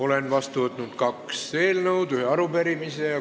Olen vastu võtnud kaks eelnõu ja ühe arupärimise.